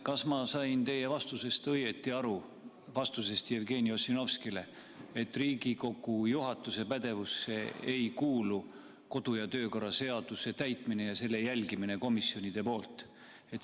Kas ma sain teie vastusest Jevgeni Ossinovskile õigesti aru, et Riigikogu juhatuse pädevusse ei kuulu kodu- ja töökorra seaduse täitmine ja jälgimine, kas komisjonid seda täidavad?